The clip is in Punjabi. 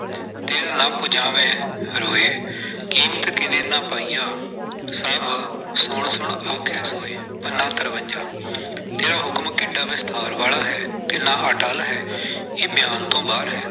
ਤਿਲੁ ਨ ਪੁਜਾਵਹਿ ਰੋਇ ।ਕੀਮਤਿ ਕਿਨੈ ਨ ਪਾਈਆ ਸਭਿ ਸੁਣਿ ਸੁਣਿ ਆਖਹਿ ਸੋਇ-ਪੰਨਾ ਤਰਵੰਜਾ, ਤੇ ਆਹ ਹੁਕਮ ਕਿੱਡਾ ਵਿਸਤਾਰ ਵਾਲਾ ਹੈ, ਕਿੰਨਾ ਅਟੱਲ ਹੈ, ਇਹ ਬਿਆਨ ਤੋਂ ਬਾਹਰ ਹੈ।